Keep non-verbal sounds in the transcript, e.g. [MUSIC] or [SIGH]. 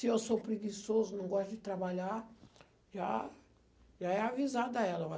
Se eu sou preguiçoso, não gosto de trabalhar, já já é avisado a ela. [UNINTELLIGIBLE]